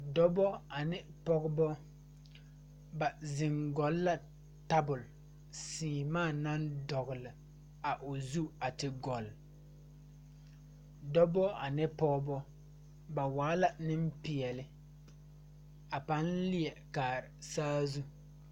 Dɔbɔ ane pɔgebɔ ba zeŋ gɔlle la tabol sèèmaa naŋ dɔgle a o zu a te gɔlle dɔbɔ ane pɔɔbɔ ba waa la neŋpeɛɛle a paŋ leɛ kaara saazu.